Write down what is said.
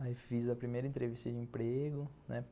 Aí fiz a primeira entrevista de emprego, né?